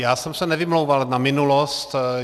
Já jsem se nevymlouval na minulost.